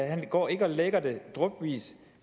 han går ikke og lækker det drypvis